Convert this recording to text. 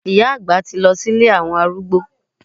Ìyá àgbà ti lọ sí ilé àwọn arúgbó.